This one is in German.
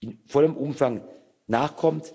in vollem Umfang nachkommt.